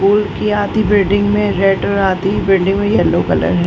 आधी बिल्डिंग में रेड और आधी बिल्डिंग में येल्लो कलर है।